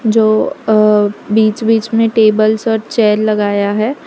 जो अ बीच बीच में टेबल्स और चेयर लगाया है।